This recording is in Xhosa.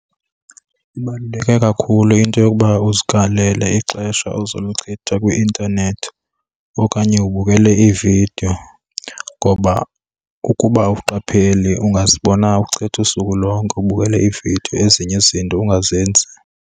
Ibaluleke kakhulu into yokuba uzikalele ixesha ozoluchitha kwi-intanethi okanye ubukele iividiyo, ngoba ukuba awuqapheli ungazibona uchitha usuku lonke ubukele iividiyo ezinye izinto ungazenzi.